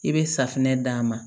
I bɛ safunɛ d'a ma